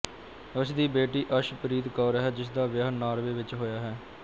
ਉਸ ਦੀ ਬੇਟੀ ਅਸ਼ਪ੍ਰੀਤ ਕੌਰ ਹੈ ਜਿਸ ਦਾ ਵਿਆਹ ਨਾਰਵੇ ਵਿਚ ਹੋਇਆ ਹੈ